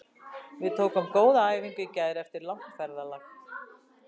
Við tókum góða æfingu í gær eftir langt ferðalag.